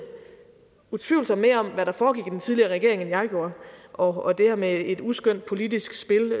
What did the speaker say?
utvivlsomt mere om hvad der foregik i den tidligere regering end jeg gjorde og det her med et uskønt politisk spil